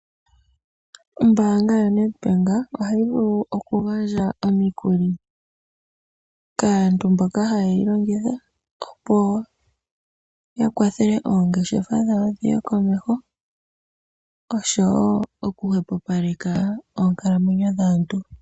Ombaanga ya Net Bank ohayi vulu oku gandja omikuli kaantu mboka haye yi longitha opo ya kwathele oongeshefa dhawo dhiye komeho oshowo oku hwepopaleka oonkaalamwenyo dhaantu.